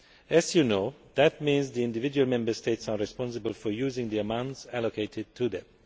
As you know, that means the individual Member States are responsible for using the amounts allocated to them.